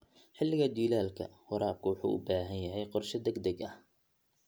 Xilliga jiilaalka, waraabku wuxuu u baahan yahay qorshe degdeg ah.